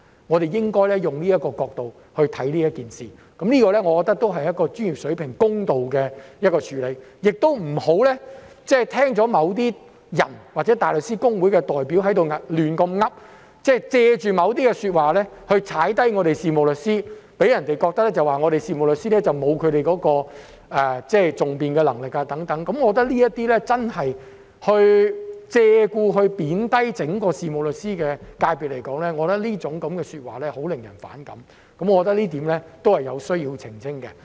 我們應該從這個角度看這件事，我覺得這才是專業、公道的處理，不要聽取某些人或大律師公會代表的胡言亂語，借助某些說話來貶低事務律師，令人覺得事務律師沒有訟辯能力，我認為這些借故貶低整個事務律師界別的說話真的令人反感，這一點也是有需要澄清的。